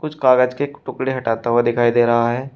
उस कागज के टुकड़े हटाता हुआ दिखाई दे रहा है।